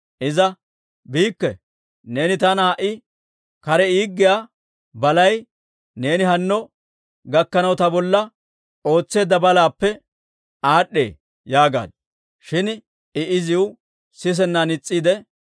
Iza, «Biikke! Neeni taana ha"i kare yederssiyaa balay neeni hanno gakkanaw ta bolla ootseedda balaappe aad'd'ee» yaagaaddu. Shin I iziw sisennan is's'eedda.